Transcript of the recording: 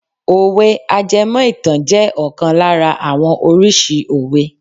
Òwe àjẹmó ìtàn je ọkàn lára àwọn oríṣi òwe.